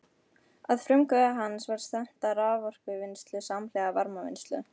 Að frumkvæði hans var stefnt að raforkuvinnslu samhliða varmavinnslu.